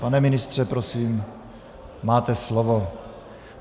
Pane ministře, prosím, máte slovo.